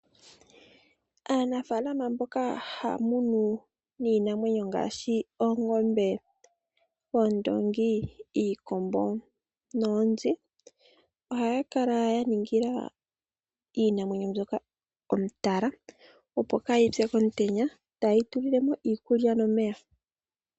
Aanafalama mboka haya munu iinamwenyo ngaashi oongombe, oondoongi, iikombo noonzi ohaya kala ya ningila iinamwenyo mbyoka etala, opo kaayi pye komutenya taye yi tulile mo iikulya nomeya.